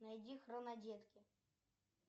найди хронодетки